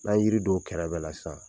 N'an ye yiri don o kɛrɛ bɛɛ la sisan.